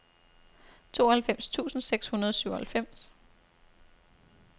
tooghalvfems tusind seks hundrede og syvoghalvfems